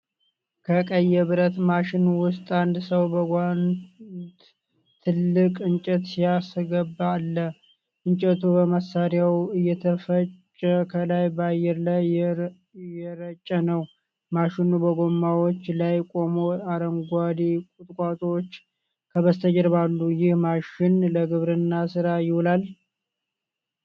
ከቀይ የብረት ማሽን ውስጥ አንድ ሰው በጓንት ትልቅ እንጨት ሲያስገባ አለ። እንጨቱ በመሳሪያው እየተፈጨ ከላይ በአየር ላይ እየረጨ ነው። ማሽኑ በጎማዎች ላይ ቆሞ አረንጓዴ ቁጥቋጦዎች ከበስተጀርባ አሉ። ይህ ማሽን ለግብርና ስራ ይውላል?